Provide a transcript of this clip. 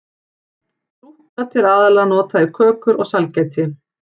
Súkkat er aðallega notað í kökur og sælgæti.